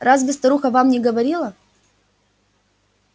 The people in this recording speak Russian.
разве старуха вам не говорила